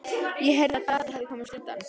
Ég heyrði að Daði hefði komist undan.